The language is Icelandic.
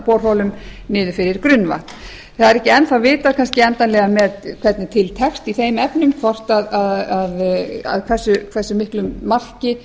borholum niður fyrir grunnvatn það er ekki enn þá vitað kannski endanlega hvernig til tekst í þeim efnum að hvað miklu marki